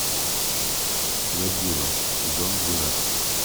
годзилла сезон двенадцать